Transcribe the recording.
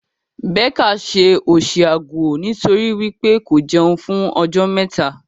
Becca ṣe òṣì aguo nitori wípé ko jẹun fún ọjọ́ mẹta.